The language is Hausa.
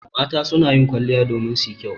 Mata su na kwaliya domin su yi kyau.